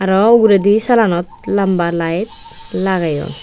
aro uguredi salanot lamba light lageyon.